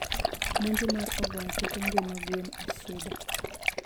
Monjo mar ogwang' keto ngima gwen e shida.